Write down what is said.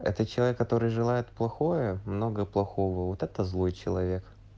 это человек который желает плохое много плохого вот это злой человек